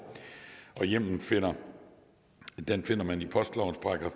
hjemmelen finder finder man i postlovens §